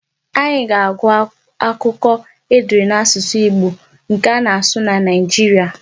Anyị ga-agụ akụkọ e dere n'asụsụ Igbo nke ana-asụ na Nigeria.